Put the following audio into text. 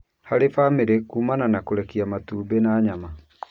harĩ bamĩrĩ kũmana na kũrekia matumbĩ na nyama.